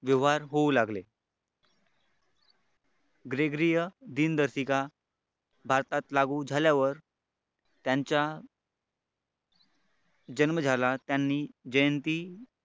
व्यवहार होऊ लागले ग्रीग्रिय दिनदर्शिका भारतात लागू झाल्यावर त्यांच्या जन्म झाला त्यांनी जयंती.